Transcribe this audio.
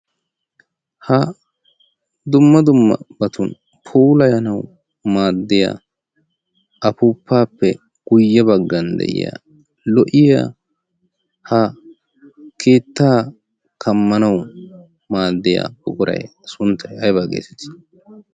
ha dumma dumma batun polayanau maaddiya afuppaappe guyye baggan de'iya lo'iya ha keettaa kammanau maaddiya buquray sunttay aybaa geeseti